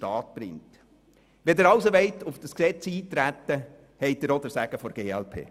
Wenn Sie also auf dieses Gesetz eintreten wollen, haben Sie auch den Segen der glp.